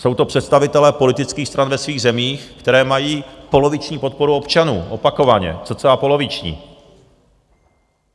Jsou to představitelé politických stran ve svých zemích, které mají poloviční podporu občanů, opakovaně, cca poloviční.